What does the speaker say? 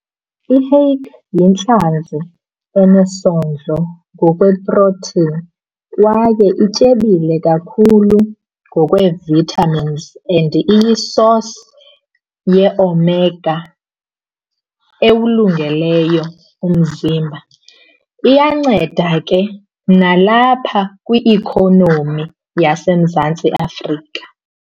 I-hake yintlanzi enesondlo ngokwe-protein kwaye ityebile kakhulu ngokwee-vitamins and iyi-source ye-omega ewulungeleyo umzimba. Iyanceda ke nalapha kwi-ikhonomi yaseMzantsi Afrika.